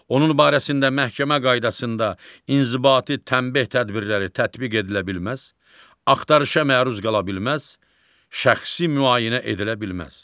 Onun barəsində məhkəmə qaydasında inzibati tənbeh tədbirləri tətbiq edilə bilməz, axtarışa məruz qala bilməz, şəxsi müayinə edilə bilməz.